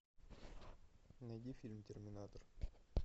найди фильм терминатор